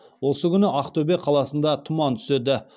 осы күні ақтөбе қаласында тұман түседі